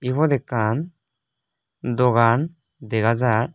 ibot ekkan dogan dega jar.